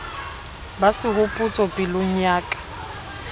ba sehopotso pelong ya ka